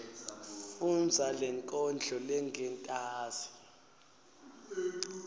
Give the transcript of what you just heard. fundza lenkondlo lengentasi